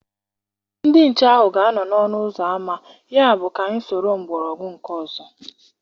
Ndị nchekwa ahụ ga-anọ n'ọnụ ụzọ ámá, yabụ ka anyị soro mgbọrọgwụ nke ọzọ.